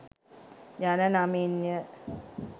යන නමින්ය.